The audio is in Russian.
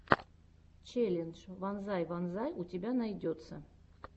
челлендж вонзай вонзай у тебя найдется